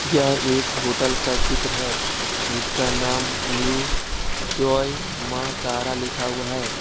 यह एक होटल का चित्र है जिसका नाम न्यू जय मां तारा लिखा हुआ है।